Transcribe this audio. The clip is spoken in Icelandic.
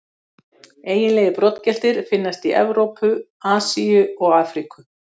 Eiginlegir broddgeltir finnast í Evrópu, Asíu og Afríku.